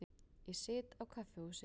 Ég sit á kaffihúsi.